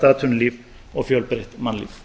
atvinnulíf og fjölbreytt mannlíf